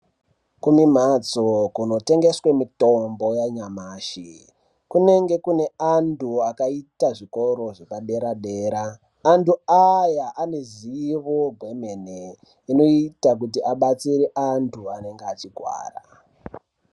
Kunemhatso kunotengeswa mitombo yanyamashi. Kunenge kune antu akaita zvikoro zvepadera-dera. Antu aya anezivo gwemene, inoite kuti abatsire antu anenge echigwara.